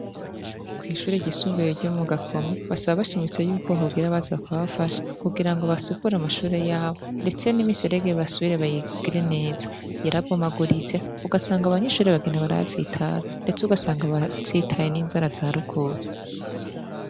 Kwishure ryisumbuye ryo mu Gakome basaba bashimitse ko hogira abaza bakabafasha kugira ngo basukure amashure yabo ndetse nimiserege basubire bayigire neza yarabomotse ugasanga abanyeshure bagiye baratsitara ndetse ugasanga batsitaye n'inzara zarukutse.